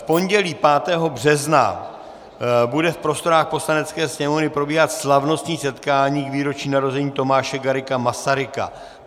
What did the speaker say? V pondělí 5. března bude v prostorách Poslanecké sněmovny probíhat slavnostní setkání k výročí narození Tomáše Garrigua Masaryka.